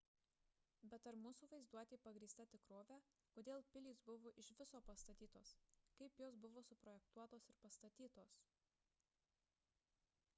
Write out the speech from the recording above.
bet ar mūsų vaizduotė pagrįsta tikrove kodėl pilys buvo iš viso pastatytos kaip jos buvo suprojektuotos ir pastatytos